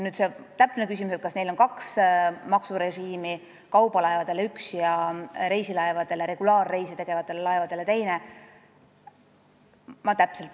Nüüd sellest täpsest küsimusest, kas neil on kaks maksurežiimi: üks kaubalaevadele ja teine reisilaevadele, regulaarreise tegevatele laevadele.